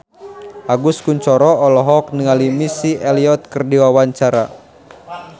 Agus Kuncoro olohok ningali Missy Elliott keur diwawancara